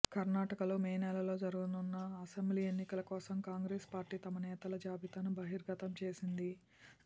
కర్ణాటకలో మే నెలలో జరగనున్న అసెంబ్లీ ఎన్నికల కోసం కాంగ్రెస్ పార్టీ తమ నేతల జాబితాను బహిర్గతం చేసింది